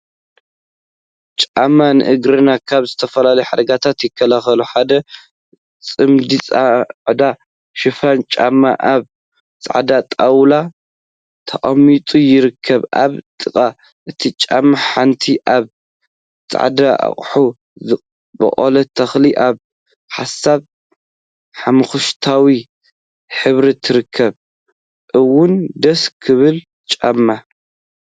ጫማ ንእግርና ካብ ዝተፈላለዩ ሓደጋታት ይከላከል፡፡ ሓደ ፅምዲ ፃዕዳ ድፉን ጫማ አብ ፃዕዳ ጣውላ ተቀሚጦም ይርከቡ፡፡ አብ ጥቃ እቲ ጫማ ሓንቲ አብ ፃዕዳ አቅሓ ዝበቆለት ተክሊ አብ ሃሳስ ሓመኩሽታይ ሕብሪ ትርከብ፡፡ እዋይ ደስ ክብሉ ጫማ!